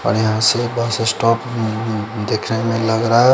और यहाँ से बस एस्टोप देखने में लग रहा है।